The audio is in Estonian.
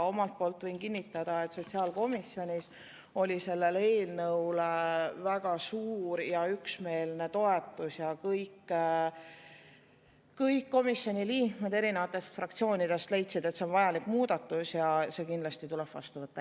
Omalt poolt võin kinnitada, et sotsiaalkomisjonis oli sellele eelnõule väga suur ja üksmeelne toetus ja kõik komisjoni liikmed erinevatest fraktsioonidest leidsid, et see on vajalik muudatus, mis tuleb kindlasti vastu võtta.